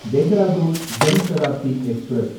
Dehradun Jan Shatabdi express